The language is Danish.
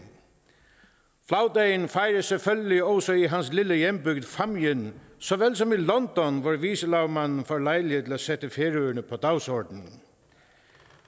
flagdagen fejres selvfølgelig også i hans lille hjembygd fámjin såvel som i london hvor vicelagmanden får lejlighed til at sætte færøerne på dagsordenen